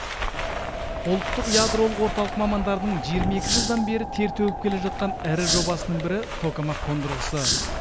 ұлттық ядролық орталық мамандарының жиырма екі жылдан бері тер төгіп келе жатқан ірі жобасының бірі токамак қондырғысы